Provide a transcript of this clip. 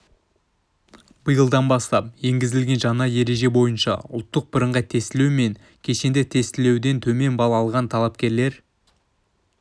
биылдан бастап енгізілген жаңа ереже бойынша ұлттық бірыңғай тестілеу мен кешенді тестілеуден төмен балл алған талапкерлер